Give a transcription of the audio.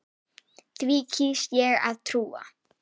Því kýs ég að trúa.